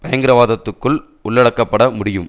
பயங்கரவாதத்துக்குள் உள்ளடக்கப்பட முடியும்